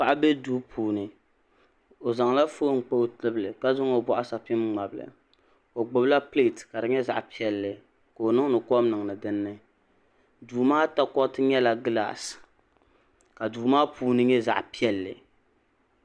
Paɣa be duu puuni o zaŋla foon kpa o tibili ka zaŋ o bɔɣusapiŋ ŋmabi li o gbubila pileeti ka di nyɛ zaɣ'piɛlli ka o niŋdi kom niŋdi dini duu maa takoriti nyɛla gilaasi ka duu maa puuni nyɛ zaɣ'piɛlli.